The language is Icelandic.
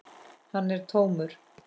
Hann er tómur.